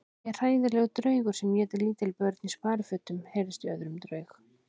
Ég er hræðilegur draugur sem étur lítil börn í sparifötum heyrðist í öðrum draug.